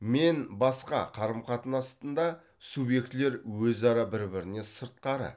мен басқа қарым қатынасында субъектілер өзара бір біріне сыртқары